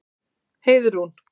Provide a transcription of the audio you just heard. Heiðrún